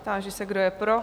Táži se, kdo je pro?